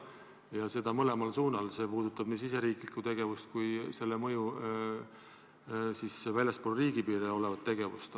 Ja seda mõlemal suunal, see puudutab nii riigisisest tegevust kui selle mõju, väljaspool riigipiire olevat tegevust.